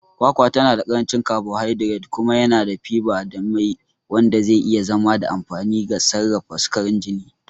Kwakwa tana da ƙarancin carbohydrates kuma yana da fiber da mai, wanda zai iya zama da amfani ga sarrafa sukarin jini.